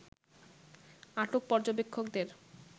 আটক পর্যবেক্ষকদের